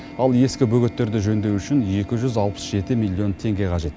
ал ескі бөгеттерді жөндеу үшін екі жүз алпыс жеті миллион теңге қажет